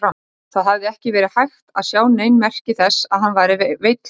Það hafði ekki verið hægt að sjá nein merki þess að hann væri veill fyrir.